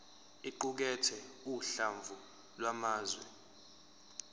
iqukathe uhlamvu lwamazwi